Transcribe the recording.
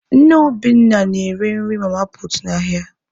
Nne Obinna na-ere nri mama puutu n'ahịa.